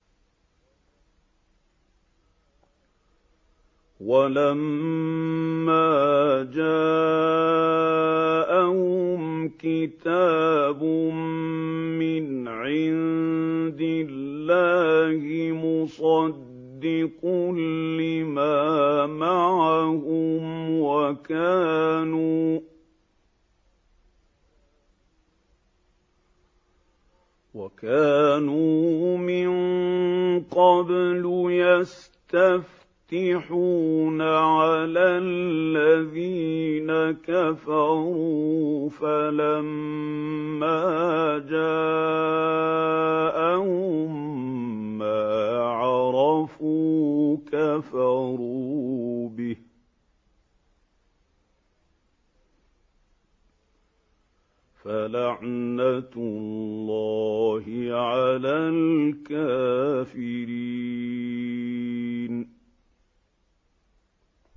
وَلَمَّا جَاءَهُمْ كِتَابٌ مِّنْ عِندِ اللَّهِ مُصَدِّقٌ لِّمَا مَعَهُمْ وَكَانُوا مِن قَبْلُ يَسْتَفْتِحُونَ عَلَى الَّذِينَ كَفَرُوا فَلَمَّا جَاءَهُم مَّا عَرَفُوا كَفَرُوا بِهِ ۚ فَلَعْنَةُ اللَّهِ عَلَى الْكَافِرِينَ